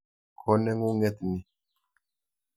Ko neng'ung'et ni.